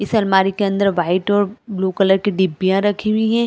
इस अलमारी के अंदर वाइट और ब्लू कलर की डिब्बिया रखी हुई है।